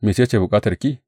Mece ce bukatarki?